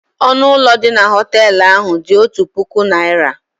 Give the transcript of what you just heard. Ọnụ ụlọ dị na họtel ahụ dị otu puku naira.